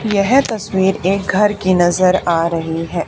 यह तस्वीर एक घर की नजर आ रही है।